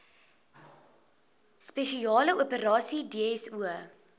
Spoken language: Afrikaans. spesiale operasies dso